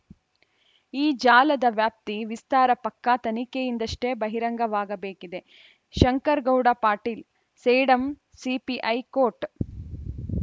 ಈ ಜಾಲದ ವ್ಯಾಪ್ತಿ ವಿಸ್ತಾರ ಪಕ್ಕಾ ತನಿಖೆಯಿಂದಷ್ಟೇ ಬಹಿರಂಗವಾಗಬೇಕಿದೆ ಶಂಕರಗೌಡ ಪಾಟೀಲ್‌ ಸೇಡಂ ಸಿಪಿಐ ಕೋಟ್‌